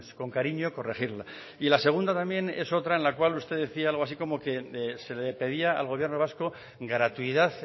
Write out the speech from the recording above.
con cariño corregirla y la segunda también es otra en la cual usted decía algo así como que se le pedía al gobierno vasco gratuidad